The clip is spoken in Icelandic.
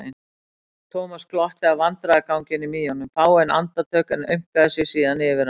Thomas glotti að vandræðaganginum í honum fáein andartök en aumkaði sig síðan yfir hann.